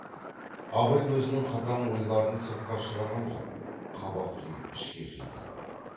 абай өзінің қатаң ойларын сыртқа шығарған жок қабақ түйіп ішке жиды